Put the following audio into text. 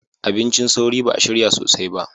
Abincin sauri ba a shirya sosai ba